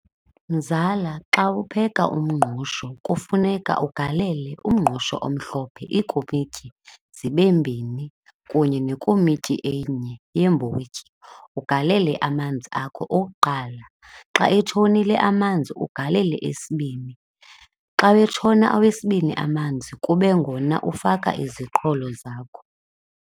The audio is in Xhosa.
Mzala, xa upheka umngqusho kufuneka ugalele umngqusho omhlophe iikomityi zibe mbini kunye nekomityi enye yeembotyi, ugalele amanzi akho okuqala. Xa etshonile amanzi ugalele esibini, xa wetshona awesibini amanzi kube ngona ufaka iziqholo zakho.